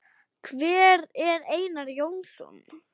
Hver er Einar Jónsson?